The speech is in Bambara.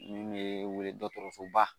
Min be wele dɔkɔtɔrɔsoba